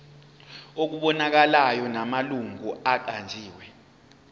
okubonakalayo namalungu aqanjiwe